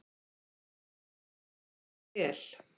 Allt gekk vel.